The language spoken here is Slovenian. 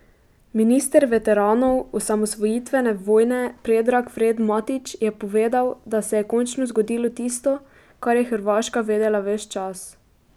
Minister veteranov osamosvojitvene vojne Predrag Fred Matić je povedal, da se je končno zgodilo tisto, kar je Hrvaška vedela ves čas.